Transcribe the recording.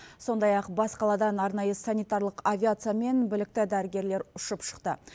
сондай ақ бас қаладан арнайы санитарлық авиациямен білікті дәрігерлер ұшып шықты